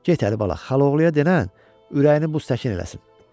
Get Əlibala, xalaoğluna denən ürəyini buz təkin eləsin.